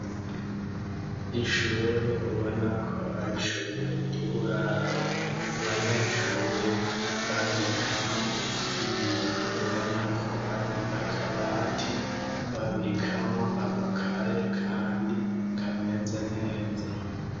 ishure ubona ko ari shure ry'uburaro abanyeshure babikamwo ibintu ubona ko ari akabati babikamwo amakaye kandi kameze neza